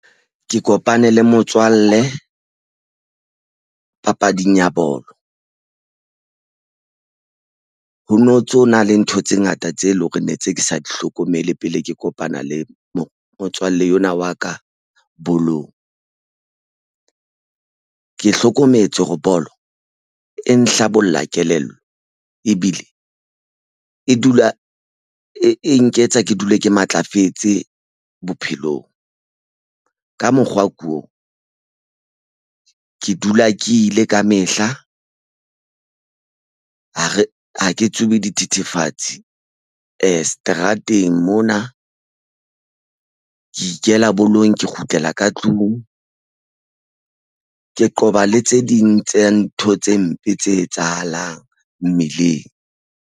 Ke kopane le motswalle papading ya bolo ho no ntso na le ntho tse ngata tse leng hore ne tse ke sa di hlokomele pele ke kopana le mo motswalle enwa wa ka bolong. Ke hlokometse hore bolo e nhlabollang kelello ebile e dula e nketsa ke dule ke matlafetse bophelong ka mokgwa o ko ke dula ke ile ka mehla ha ke tsubi dithethefatsi seterateng mona ke ikela bolong ke kgutlela ka tlung ke qoba le tse ding tse ntho tse mpe tse etsahalang mmileng.